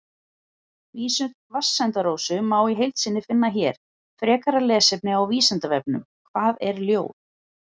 Vísur Vatnsenda-Rósu má í heild sinni finna hér Frekara lesefni á Vísindavefnum: Hvað er ljóð?